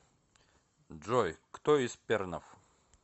джой кто из пернов